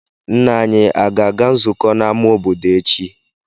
Nna anyị aga-aga nzukọ n'amá obodo echi?